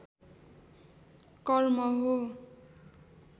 कर्म हो